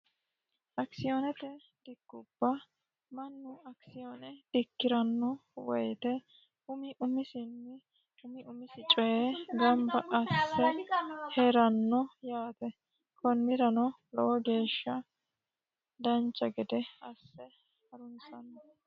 Akisiyoonete dikkubba mannu akisiyoone dikkiranno woyte umi umisinni umi umisi coye ganibba asse hiranno yaate konnirano lowo geesha asse harunisanno